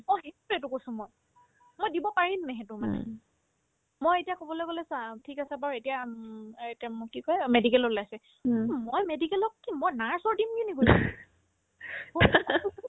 অহে সেইটোয়ে কৈছো মই মই দিব পাৰিমনে সেইটো মানে মই এতিয়া ক'বলে গ'লে চা ঠিক আছে বাৰু এতিয়া আম এতিয়া মোক কি কই medical ৰ ওলাইছে মই medical ত কি মই nurse ৰ দিম কেনেকৰি